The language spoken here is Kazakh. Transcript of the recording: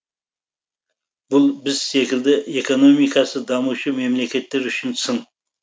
бұл біз секілді экономикасы дамушы мемлекеттер үшін сын